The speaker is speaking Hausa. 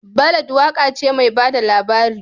Ballad waka ce mai ba da labari